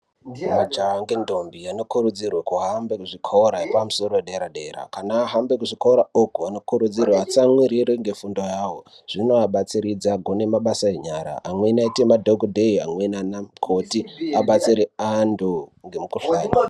Majaha ngentombi anokurudzirwa kuhambe kuzvikora yepamusoro yedera dera, kana ahambe kuzvikora uku anokurudzirwa atsamwirire ngefundo yawo zvinoabatsiridza agone mabasa enyara amweni aite madhokodheya amweni anamukoti abatsire antu ngemikuhlani.